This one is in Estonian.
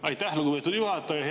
Aitäh, lugupeetud juhataja!